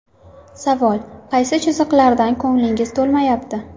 Savol: Qaysi chiziqlardan ko‘nglingiz to‘lmayapti?